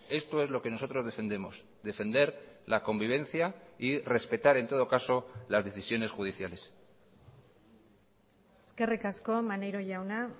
esto es lo que nosotros defendemos defender la convivencia y respetar en todo caso las decisiones judiciales eskerrik asko maneiro jauna